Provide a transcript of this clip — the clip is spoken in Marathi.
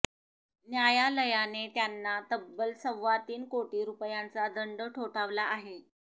न्यायालयाने त्यांना तब्बल सव्वातीन कोटी रुपयांचा दंड ठोठावला आहे